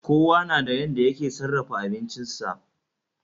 Kowa nada yanda yake sarafa abincisa